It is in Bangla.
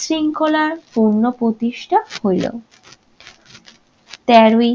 শৃঙ্খলার পূর্ণপ্রতিষ্ঠা হইল। তেরোই